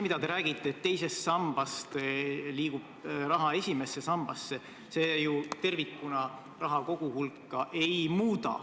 Te räägite, et teisest sambast liigub raha esimesse sambasse, aga see ju tervikuna raha koguhulka ei muuda.